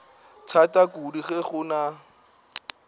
thata kudu ge go na